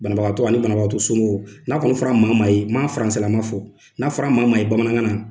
Banabagatɔ ani banabagato somɔgɔw n'a kɔni fɔra maamaa ye m'a fɔ n'a fɔra maamaa ye bamanankan na.